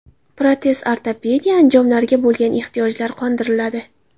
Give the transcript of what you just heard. Protez-ortopediya anjomlariga bo‘lgan ehtiyojlari qondiriladi.